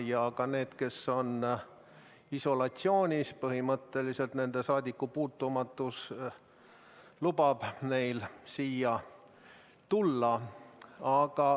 Ka neil, kes on isolatsioonis, lubab põhimõtteliselt nende saadikupuutumatus siia kohale tulla.